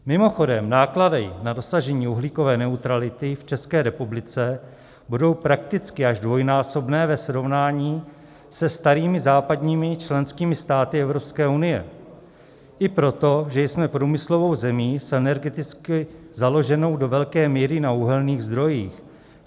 Mimochodem, náklady na dosažení uhlíkové neutrality v České republice budou prakticky až dvojnásobné ve srovnání se starými západními členskými státy EU, i proto, že jsme průmyslovou zemí, s energeticky založenou do velké míry na uhelných zdrojích.